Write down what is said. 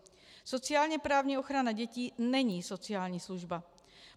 Sociálně-právní ochrana dětí není sociální služba.